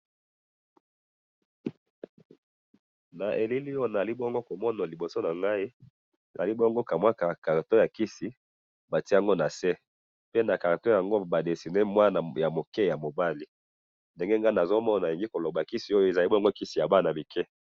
Elili nazo mona Awa eza kisi ya bana mike.